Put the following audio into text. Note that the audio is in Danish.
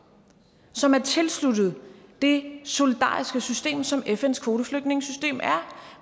som er tilsluttet det solidariske system som fns kvoteflygtningesystem er